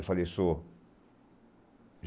Eu falei, sou.